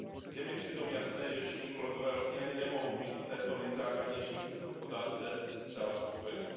Je mi přitom jasné, že všichni kolegové vlastně ani nemohou být v této nejzákladnější otázce zcela spokojeni.